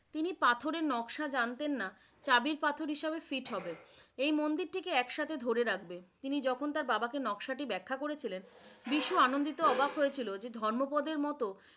তিনি পাথরের নকশা জানতেন নাহ, চাবি পাথর হিসেবে fit হবে । এই মন্দিরটিকে এক সাথে ধরে রাখবে। তিনি যখন তার বাবে নকশাটি ব্যাখা করেছিলেন, বিশু আনন্দিত অবাক হয়েছিলো যে ধর্মপদের মতো